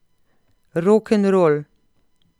Rokenrol.